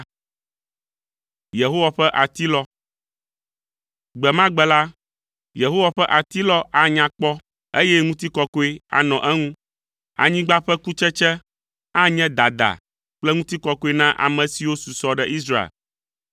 Gbe ma gbe la, Yehowa ƒe Atilɔ anya kpɔ, eye ŋutikɔkɔe anɔ eŋu. Anyigba ƒe kutsetse anye dada kple ŋutikɔkɔe na ame siwo susɔ ɖe Israel.